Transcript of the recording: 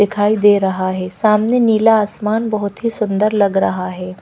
दिखाई दे रहा है सामने नीला आसमान बहुत ही सुंदर लग रहा है।